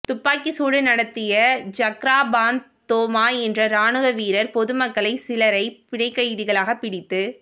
துப்பாக்கி சூடு நடத்திய ஜக்ராபாந்த் தோமா என்ற ராணுவ வீரர் பொதுமக்களை சிலரை பிணைக்கைதிகளாக பிடித்து